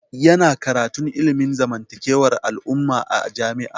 Ya na karantun ilimin zamantakewar al'umma a jami'a